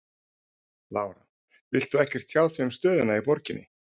Lára: Vilt þú ekkert tjá þig um stöðuna í borginni?